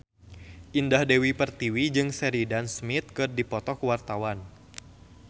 Indah Dewi Pertiwi jeung Sheridan Smith keur dipoto ku wartawan